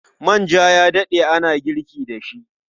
Manja ya daɗe ana girki da shi.